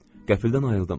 Qəfildən ayıldım.